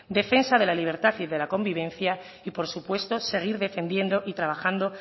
defensa de la libertad y de la convivencia y por supuesto seguir defendiendo y trabajando